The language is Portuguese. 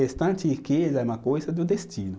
Restante riqueza é uma coisa do destino.